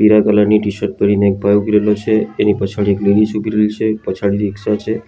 પીળા કલર ની ટી_શર્ટ પહેરીને એક ભાઈ ઉભો રહેલો છે તેને પછાડી એક લીલી સુગ્રીવ છે પછાડી રીક્ષા છે.